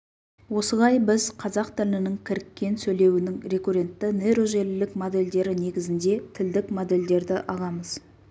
осылай біз қазақ тілінің кіріккен сөйлеуінің рекуррентті нейрожелілік модельдері негізінде тілдік модельдерді аламыз